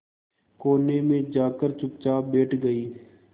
कोने में जाकर चुपचाप बैठ गई